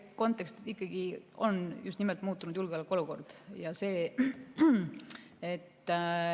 Kontekst ikkagi on just nimelt muutunud julgeolekuolukord.